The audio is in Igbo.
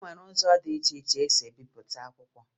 E nwere ụzọ dị iche iche e si ebipụta akwụkwọ